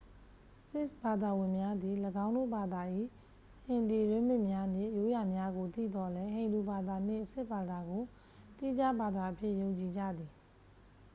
ဆစ်ခ်ဘာသာဝင်များသည် ၎င်းဘာသာ၏ ဟင်ဒီ ရင်းမြစ်များနှင့် ရိုးရာများကို သိသော်လည်း ဟိန္ဒူဘာသာနှင့် ဆစ်ခ်ဘာသာကို သီးခြားဘာသာအဖြစ် ယုံကြည်ကြသည်